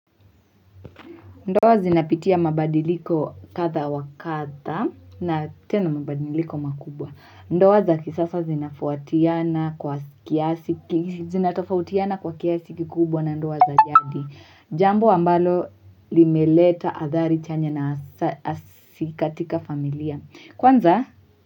Ndoa zinapitia mabadiliko kadha wa kadha na tena mabadiliko makubwa ndoa za kisasa zinatofautiana kwa kiasi kikubwa na ndoa za jadi jambo ambalo limeleta athari chanya na hasi katika familia kwanza.